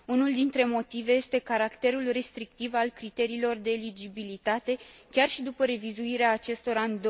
Unul dintre motive este caracterul restrictiv al criteriilor de eligibilitate, chiar și după revizuirea acestora în